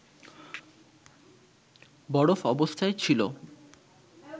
বরফ অবস্থায় ছিল